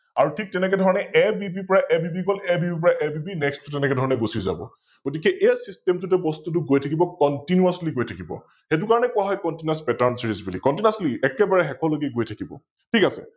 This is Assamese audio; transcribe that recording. আৰু ঠিক তেনেকেধৰণে ABB পৰা ABB গল ABB পৰা ABB, Next টো তেনেকেধৰণে গুছি যাব । গতিকে এই System টোতে বস্তুটো গৈ থাকিব Continously গৈ থাকিব, সৈটোকাৰনে কোৱা হয় ContinousPatternSeries বুলি, একেবাৰে শেষলৈকে গৈ থাকিব ।